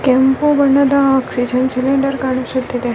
ಕೆಂಪು ಬಣ್ಣದ oxygen cylinder ಕಾಣಿಸುತಿದೆ.